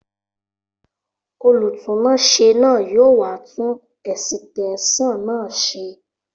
Olùtúnáṣé náà yóò wá tun ẹ̀sìtẹ́sàn náà ṣe